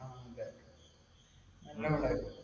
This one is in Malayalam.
നല്ല പടമായിരുന്നു.